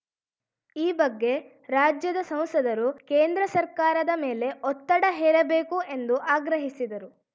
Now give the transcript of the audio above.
ಈ ಬಗ್ಗೆ ರಾಜ್ಯದ ಸಂಸದರು ಕೇಂದ್ರ ಸರ್ಕಾರದ ಮೇಲೆ ಒತ್ತಡ ಹೇರಬೇಕು ಎಂದು ಆಗ್ರಹಿಸಿದರು